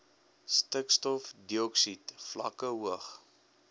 stikstofdioksied vlakke hoog